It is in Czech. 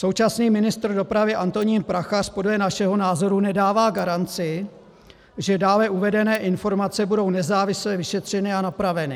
Současný ministr dopravy Antonín Prachař podle našeho názoru nedává garanci, že dále uvedené informace budou nezávisle vyšetřeny a napraveny.